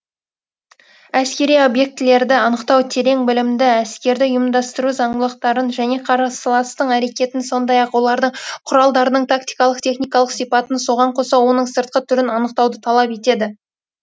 әскери объектілерді анықтау терең білімді әскерді ұйымдастыру зандылықтарын және қарысыластың әрекетін сондай ақ олардың құралдарының тактикалық техникалық сипатын соған қоса оның сыртқы түрін анықтауды талап етеді